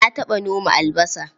Na taɓa noma albasa.